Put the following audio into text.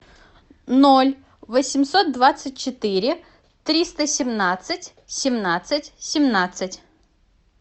ноль восемьсот двадцать четыре триста семнадцать семнадцать семнадцать